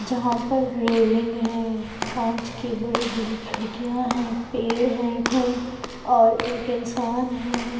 जहा पर रेलिंग है कांच के बड़ी-बड़ी खिड़कियां है पेड़ है है और एक इंसान है।